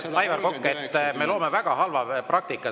Head kolleegid, Aivar, me loome väga halva praktika.